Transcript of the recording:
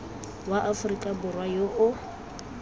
wa aforika borwa yo o